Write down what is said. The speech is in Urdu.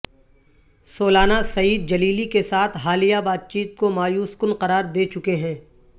سولانا سعید جلیلی کے ساتھ حالیہ بات چیت کو مایوس کن قرار دے چکے ہیں